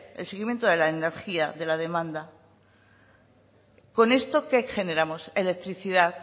el seguimiento de la energía de la demanda con esto qué generamos electricidad